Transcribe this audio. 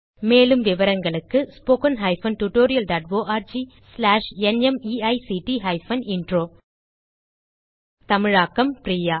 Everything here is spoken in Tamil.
மேலும் விவரங்களுக்கு spoken hyphen tutorial dot org slash NMEICT hyphen intro தமிழாக்கம் பிரியா